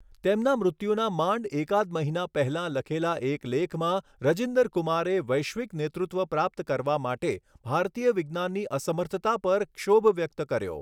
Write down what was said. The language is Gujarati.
તેમના મૃત્યુના માંડ એકાદ મહિના પહેલાં લખેલા એક લેખમાં રજિન્દર કુમારે વૈશ્વિક નેતૃત્વ પ્રાપ્ત કરવા માટે ભારતીય વિજ્ઞાનની અસમર્થતા પર ક્ષોભ વ્યક્ત કર્યો.